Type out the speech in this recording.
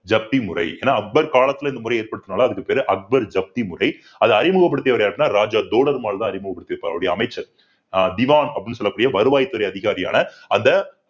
ஜப்தி முறை. ஏன்னா அக்பர் காலத்துல இந்த முறை ஏற்படுத்தனதுனால இதுக்கு பேர் அக்பர் ஜப்தி முறை அதை அறிமுகப்படுத்தியவர் யாருன்னா ராஜா தோடர்மால்தான் அறிமுகப்படுத்தி இருப்பார் அவருடைய அமைச்சர் திவான் அப்படின்னு சொல்லக்கூடிய வருவாய்த்துறை அதிகாரியான அந்த